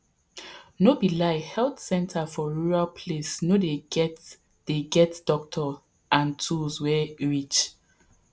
no be lie health center for rural place no dey get dey get doctor and tools wey reach